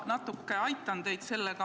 Ma natuke aitan teid.